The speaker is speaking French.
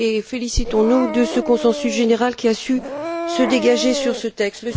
Félicitons nous de ce consensus général qui a su se dégager sur ce texte.